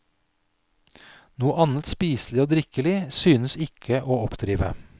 Noe annet spiselig og drikkelig synes ikke å oppdrive.